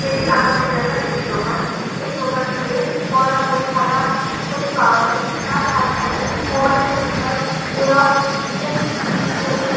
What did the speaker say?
এটি আমাদের এলাকার একটি দোকান এই দোকানটিতে পড়ার বই খাতা ইত্যাদি পাওয়া যায় তার সাথে সাথে মোবাইলের recharge xerox electric bill payment --